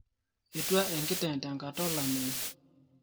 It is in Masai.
Etua enkiteng tenkatra olameyu